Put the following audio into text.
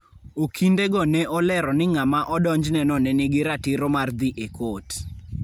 Okindego ne olero ni ng' ama odonjneno ne nigi ratiro mar dhi e kot.